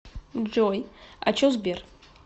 джой а че сбер